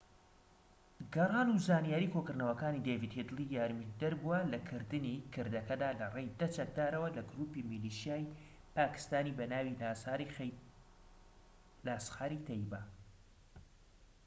گەڕان و زانیاری کۆکردنەوەکانی دەیڤد هیدلی یارمەتیدەر بووە لەکردنی کردەکەدا لەڕێی ١٠ چەکدارەوە لە گروپی میلیشیای پاکیستانی بەناوی لاسخار-ی-تەیبە